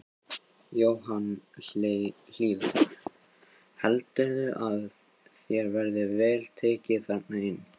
Jóhann Hlíðar: Heldurðu að þér verði vel tekið þarna inni?